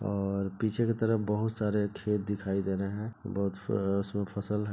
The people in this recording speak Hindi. और पीछे के तरफ बहुत सारे खेत दिखाई दे रहे है बहुत फ उसमें फसल है।